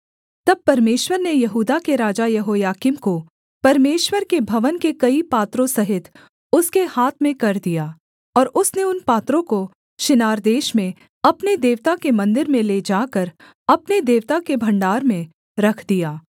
तब परमेश्वर ने यहूदा के राजा यहोयाकीम को परमेश्वर के भवन के कई पात्रों सहित उसके हाथ में कर दिया और उसने उन पात्रों को शिनार देश में अपने देवता के मन्दिर में ले जाकर अपने देवता के भण्डार में रख दिया